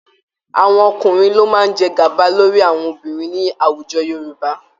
Àwọn ọkúnrin ló máa jẹ gàba lórí àwọn obinrin ní àwùjọ Yorùbá